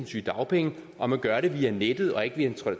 sygedagpenge og man gør det via nettet og ikke via en